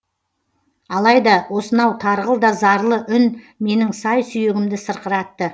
алайда осынау тарғыл да зарлы үн менің сай сүйегімді сырқыратты